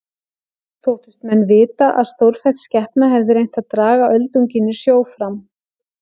Þóttust menn vita að stórfætt skepna hefði reynt að draga öldunginn í sjó fram.